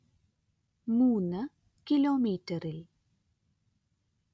മൂന് കിലോമീറ്ററിൽ